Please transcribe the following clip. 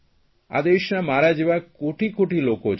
આ દેશના મારા જેવા કોટીકોટી લોકો છે